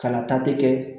Kana tati kɛ